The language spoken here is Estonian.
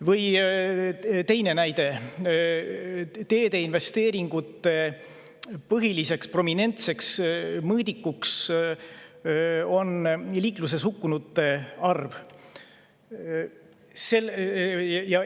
Või teine näide: teedeinvesteeringute põhiline, prominentne mõõdik on liikluses hukkunute arv.